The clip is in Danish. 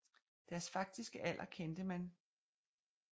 Deres faktiske alder kendte man ke